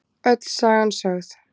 Öll sagan sögð